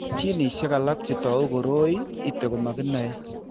Ginishek alak che tou koroi ito ko komo kenai.